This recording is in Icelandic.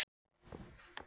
Svo hlý og góð.